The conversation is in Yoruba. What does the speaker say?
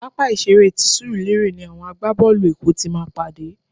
Pápá ìṣeré ti Surulere ni àwọn àgbá-boolu èkó ti máa pàdé.